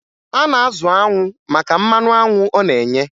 A na-azụ anwụ maka mmanụ anwụ ọ na-enye